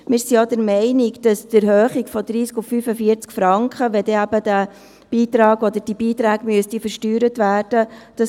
Wir sind auch der Meinung, dass bei einer Erhöhung von 30 auf 45 Franken, wenn dann eben dieser Betrag versteuert werden müsste.